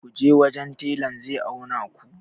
ku je wajen telan zai auna ku!